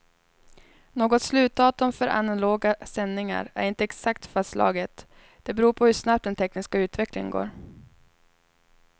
Något slutdatum för analoga sändningar är inte exakt fastslaget, det beror på hur snabbt den tekniska utvecklingen går.